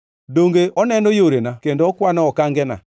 Donge oneno yorena kendo okwano okangena?